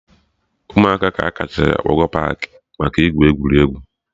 Ụmụaka ka a kachasị akpọga paakị maka igwu egwuregwu